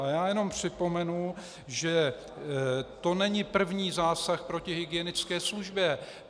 A já jenom připomenu, že to není první zásah proti hygienické službě.